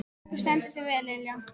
Þú stendur þig vel, Lilja!